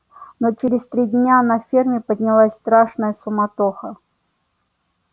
но через три дня на ферме поднялась страшная суматоха